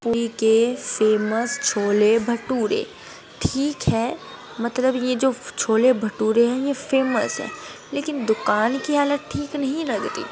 Famous chole bhature ठीक है मतलब ये जो छोले भटूरे हैं ये फेमस हैं लेकिन दुकान की हालत ठीक नहीं लगती।